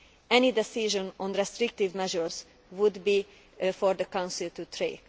Any decision on restrictive measures would be for the Council to take.